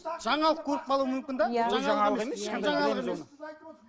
жаңалық көріп қалуы мүмкін де